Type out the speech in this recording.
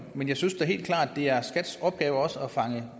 men jeg synes da helt klart at det er skats opgave også at fange